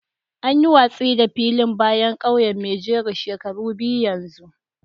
An yi watsi da filin bayan kauyen maijoro shekaru biyu yanzu